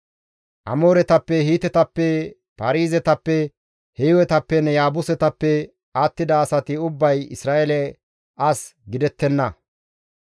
Amooretappe, Hiitetappe, Paarizetappe, Hiiwetappenne Yaabusetappe attida asati ubbay Isra7eele as gidettenna.